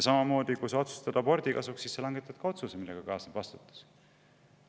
Samamoodi on see siis, kui sa otsustad abordi kasuks, ka siis langetad sa otsuse, millega kaasneb vastutus.